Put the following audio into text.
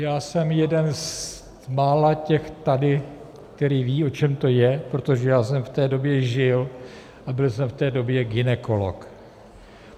Já jsem jeden z mála těch tady, který ví, o čem to je, protože já jsem v té době žil a byl jsem v té době gynekolog.